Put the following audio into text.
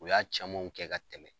U y'a camanw kɛ ka tɛmɛ.